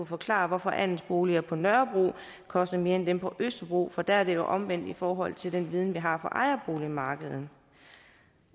forklare hvorfor andelsboliger på nørrebro koster mere end dem på østerbro for der er det jo omvendt i forhold til den viden vi har fra ejerboligmarkedet